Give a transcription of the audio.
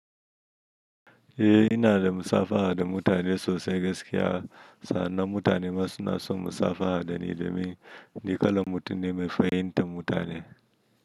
Eh ina da musabaha da mutane sosai gaskiya. Sannan mutane masu nasu musabaha da ni domin niƙala mutum ne mefi hin tan mutane.